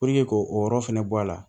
k'o yɔrɔ fɛnɛ bɔ a la